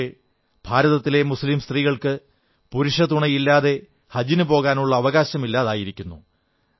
പക്ഷേ ഭാരതത്തിലെ മുസ്ലീം സ്ത്രീകൾക്ക് പുരുഷതുണയില്ലാതെ ഹജിനു പോകാനുള്ള അവകാശമില്ലായിരുന്നു